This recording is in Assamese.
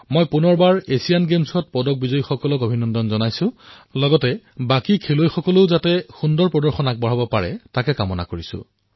পুনৰবাৰ এছিয়ান গেমছৰ পদক বিজেতাসকলক অভিনন্দন জনাইছোঁ আৰু লগতে আনবোৰ খেলুৱৈৰ পৰাও ভাল প্ৰদৰ্শন কামনা কৰিছোঁ